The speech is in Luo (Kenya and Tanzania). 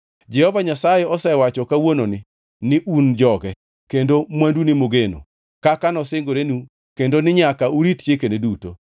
Jehova Nyasaye osewacho kawuononi ni un joge, kendo mwandune mogeno kaka nosingorenu kendo ni nyaka urit chikene duto.